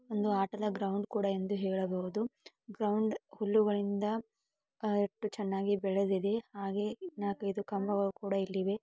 ಒಂದು ಆಟದ ಗ್ರೌಂಡ್ ಎಂದು ಹೇಳಬಹುದು ಗ್ರೌಂಡ್ ಹುಲ್ಲುಗಳಿಂದ ಎಷ್ಟು ಚನ್ನಾಗಿ ಬೆಳೆದ್ದಿದೆ ಹಾಗೆ ನಾಲಕೈದು ಕಂಬಗಳು ಕೂಡ ಇಲ್ಲಿವೇ.